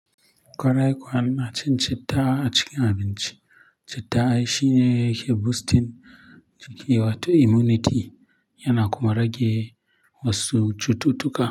Kwarai kuwa, na cin cita a cikin abinci. Citta shi ne ke boosting gwiwa ta immunity yana kuma rage wasu cututtuka.